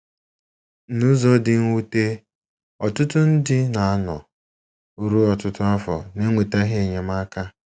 N’ụzọ dị mwute, ọtụtụ ndị na - anọ ruo ọtụtụ afọ n’enwetaghị enyemaka.